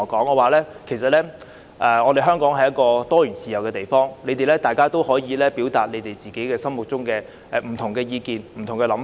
我告訴他們香港是一個自由多元的地方，他們可以表達自己心中的不同意見和想法。